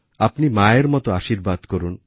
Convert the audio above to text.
আপনি মায়ের মতো আশীর্বাদ করুন